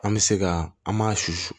An bɛ se ka an m'a susu